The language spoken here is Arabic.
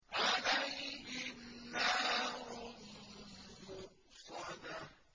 عَلَيْهِمْ نَارٌ مُّؤْصَدَةٌ